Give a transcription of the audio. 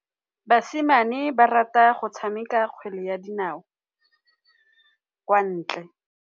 Basimane ba rata go tshameka kgwele ya dinaô kwa ntle.